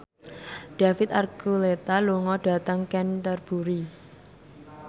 David Archuletta lunga dhateng Canterbury